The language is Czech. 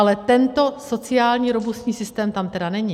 Ale tento sociální robustní systém tam tedy není.